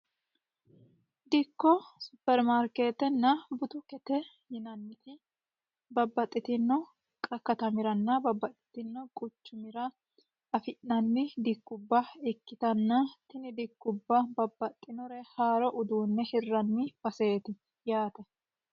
dikko supermarkeetena butukete yinanni woyte babbaxitino katamiranna babbaxitino quchumiraafi'nanni dikkubba ikkitanna tini dikkubba babbaxitino haaro uduunne hirranni baseeti yaate